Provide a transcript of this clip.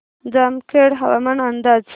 जामखेड हवामान अंदाज